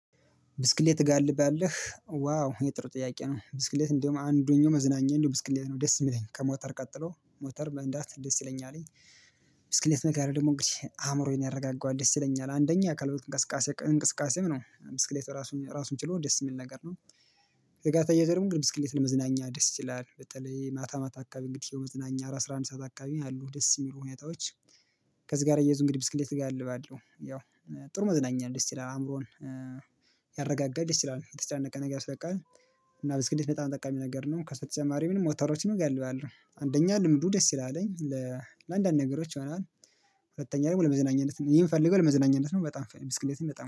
ብስክሌት ትጋልብሃለህ ዋው የህ ጥሩ ጥያቄ ነው ብስክሌት እንደውም አንዱን መዝናኛ ነው ብስክሌት ነው ደስ የሚለኝ ከሞተር ቀጥሎ ሞተር መንዳስት ደስ ይለኛልኝ። ብስከሌት መጋለብ ደግሞ እንግዲህ አእምሮዬን ያረጋጋዋል ደስ ይለኛል አንደኛ አካል እንቅስቃሴ እንቅስቃሴ ነው ብስከሌት ራሱን ራሱን ችሎ ደስ የሚል ነገር ነው። ከዚጋር ተያይዞ ደግሞ ብስክሌት ለመዝናኛ ደስ ይላል በተለይ ማታ ማታ አካባቢ እንግዲህ መዝናኛ አስራ አንድ ሰዓት አካባቢ ያሉ ደስ የሚሉ ሁኔታዎች። ከዚህ ጋር ተያይዞ እንግዲህ ብስክሌት እጋልባለሁ ያው ጥሩ መዝናኛ ነው ደስ ይላል አእምሮን ያረጋጋል ደስ ይላል የተጨናነቀ ነገር ያስለቅቃል። እና ብስክሌት በጣም ጠቃሚ ነገር ነው ከሱ በጨማሪ ሞተሮችን እጋልባለሁ አንደኛ ልምዱ ደስ ይላል። ለአንዳንድ ነገሮች ይሆናል። ሁለተኛ ደግሞ ለመዝናኛነት እኔ ምፈልገው ለመዝናኛነት ነው በጣም ብስክሌትም በጣም